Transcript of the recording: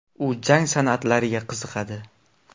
U jang san’atlariga qiziqadi.